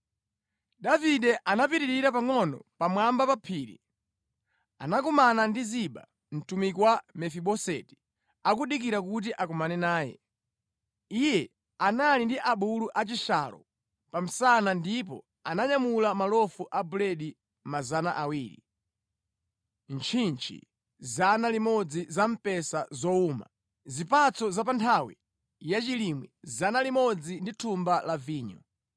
Davide atapitirira pangʼono pamwamba pa phiri, anakumana ndi Ziba mtumiki wa Mefiboseti akudikira kuti akumane naye. Iye anali ndi abulu a chishalo pa msana ndipo ananyamula malofu a buledi 200, ntchintchi 100 za mphesa zowuma, zipatso za pa nthawi yachilimwe 100 ndi thumba la vinyo.